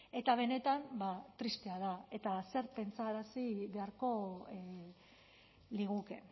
eta benetan tristea da eta zer pentsarazi beharko liguke